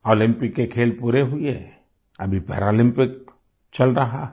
Olympic के खेल पूरे हुए अभी पैरालम्पिक्स चल रहा है